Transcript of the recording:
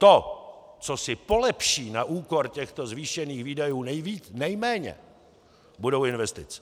To, co si polepší na úkor těchto zvýšených výdajů nejméně, budou investice.